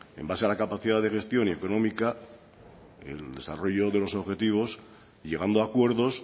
en base a la capacidad de gestión y económica el desarrollo de los objetivos llegando a acuerdos